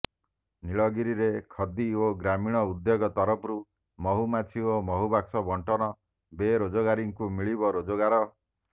ନୀଳଗିରିରେ ଖଦି ଓ ଗ୍ରାମୀଣ ଉଦ୍ୟୋଗ ତରଫରୁ ମହୁମାଛି ଓ ମହୁ ବାକ୍ସ ବଣ୍ଟନ ବେରୋଜଗାରୀଙ୍କୁ ମିଳିବ ରୋଜଗାର